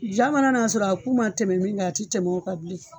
Ja mana n'a sɔrɔ a ku ma tɛmɛ min kan a ti tɛmɛ o kan bilen